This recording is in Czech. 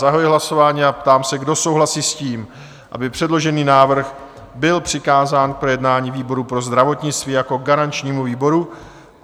Zahajuji hlasování a ptám se, kdo souhlasí s tím, aby předložený návrh byl přikázán k projednání výboru pro zdravotnictví jako garančnímu výboru?